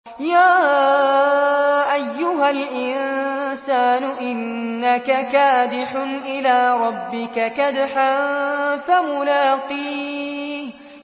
يَا أَيُّهَا الْإِنسَانُ إِنَّكَ كَادِحٌ إِلَىٰ رَبِّكَ كَدْحًا فَمُلَاقِيهِ